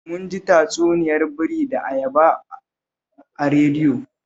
Mun ji tatsuniyar biri da ayaba a radiyo